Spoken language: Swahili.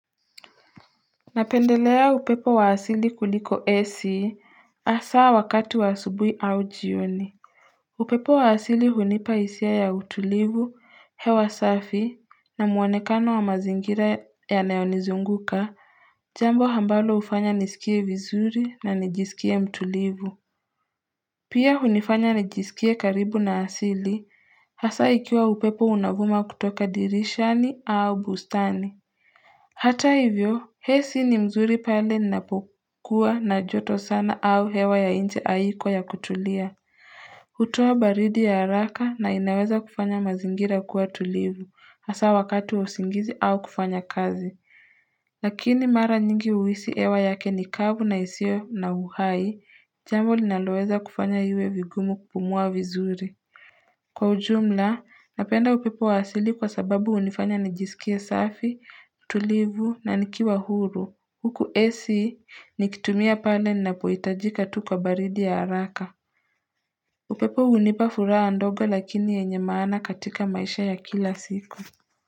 Napendelea upepo wa asili kuliko ac asaa wakati wa asubui au jioni upepo wa asili hunipa hisia ya utulivu hewa safi na muonekano wa mazingira ya nayonizunguka Jambo hambalo ufanya nisikie vizuri na nijisikie mtulivu Pia hunifanya nijisikie karibu na asili hasa ikiwa upepo unavuma kutoka dirishani au bustani Hata hivyo, ac ni nzuri pale ninapokua na joto sana au hewa ya nje haiko ya kutulia. Hutowa baridi ya haraka na inaweza kufanya mazingira kuwa tulivu, hasa wakatu usingizi au kufanya kazi. Lakini mara nyingi huisi hewa yake nikavu na isio na uhai, jambo linaloweza kufanya iwe vigumu kupumua vizuri. Kwa ujumla, napenda upepo wa asili kwa sababu hunifanya nijisikia safi, tulivu na nikiwa huru. Huku AC ni kitumia pale ninapoitajika tu kwa baridi ya haraka. Upepo hunipa furaha ndogo lakini wenye maana katika maisha ya kila siku.